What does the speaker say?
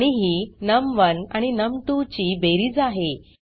आणि ही नम1 आणि नम2 ची बेरीज आहे